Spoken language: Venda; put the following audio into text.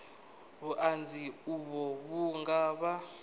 vhuṱanzi uvho vhu nga vha